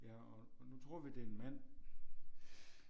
Ja og og nu tror vi det er en mand